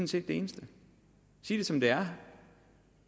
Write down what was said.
set det eneste sig det som det er